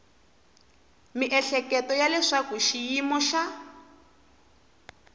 miehleketo ya leswaku xiyimo xa